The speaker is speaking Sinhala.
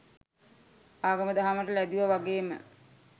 ආගම දහමට ලැදිව වගේම